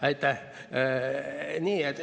Aitäh!